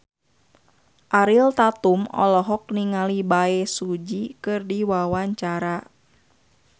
Ariel Tatum olohok ningali Bae Su Ji keur diwawancara